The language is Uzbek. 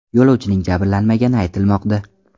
Yo‘lovchining jabrlanmagani aytilmoqda.